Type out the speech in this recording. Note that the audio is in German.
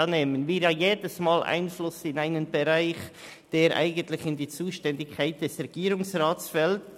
Mit dieser nehmen wir jedes Mal Einfluss auf einen Bereich, der eigentlich in die Zuständigkeit des Regierungsrats fällt.